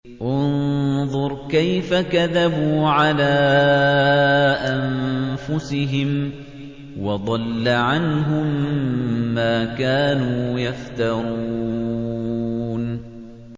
انظُرْ كَيْفَ كَذَبُوا عَلَىٰ أَنفُسِهِمْ ۚ وَضَلَّ عَنْهُم مَّا كَانُوا يَفْتَرُونَ